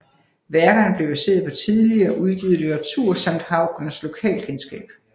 Værkerne blev baseret på tidligere udgivet litteratur samt Haugners lokalkendskab